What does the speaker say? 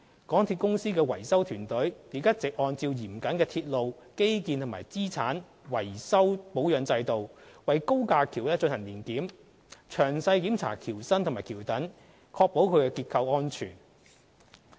港鐵公司維修團隊亦一直按照嚴謹的鐵路基建和資產維修保養制度，為高架橋進行年檢，詳細檢查橋身及橋躉，確保其結構安全。